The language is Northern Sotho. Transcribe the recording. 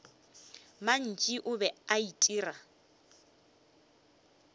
mantši o be a itira